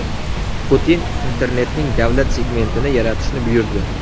Putin internetning davlat segmentini yaratishni buyurdi.